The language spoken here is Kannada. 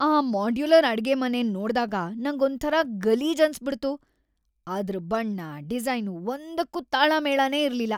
ಆ ಮಾಡ್ಯುಲರ್ ಅಡ್ಗೆಮನೆನ್ ನೋಡ್ದಾಗ ನಂಗೊಂಥರ ಗಲೀಜ್‌ ಅನ್ಸ್‌ಬಿಡ್ತು. ಅದ್ರ್ ಬಣ್ಣ, ಡಿಸೈನು ಒಂದಕ್ಕೂ ತಾಳಮೇಳನೇ ಇರ್ಲಿಲ್ಲ.